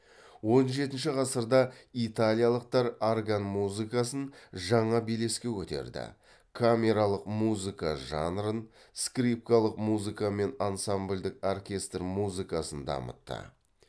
он жетінші ғасырда италиялықтар орган музыкасын жаңа белеске көтерді камералық музыка жанрын скрипкалық музыка мен ансамбльдік оркестр музыкасын дамытты